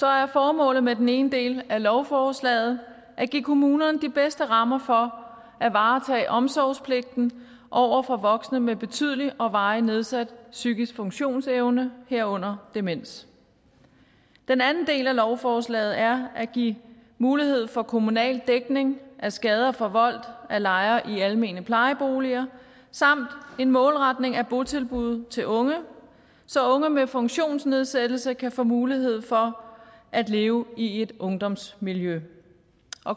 er formålet med den ene del af lovforslaget at give kommunerne de bedste rammer for at varetage omsorgspligten over for voksne med betydelig og varig nedsat psykisk funktionsevne herunder demens den anden del af lovforslaget er at give mulighed for kommunal dækning af skader forvoldt af lejere i almene plejeboliger samt en målretning af botilbud til unge så unge med funktionsnedsættelse kan få mulighed for at leve i et ungdomsmiljø